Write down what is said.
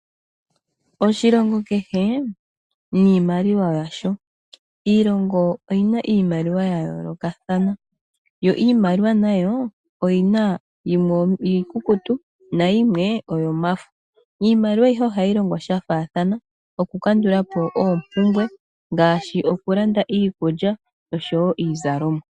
Oshilongo kehe niimaliwa yasho iilongo oyina iimaliwa yayoolokathana, yo iimaliwa nayo oyina yimwe iikukutu nayimwe oyomafo. Iimaliwa ayihe ohayi longo shafaathana okukandula po oopumbwe ngaashi okulanda iikulya nosho wo iizalomwa.